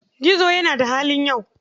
Gizo yana da halin yau.